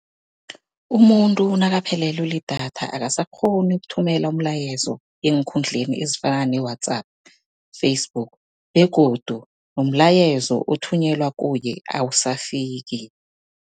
Umuntu nakaphelelwe lidatha akasakghoni ukuthumela umlayezo eenkundleni ezifana ne-WhatsApp, Facebook begodu nomlayezo othunyelwa kuye awusafiki.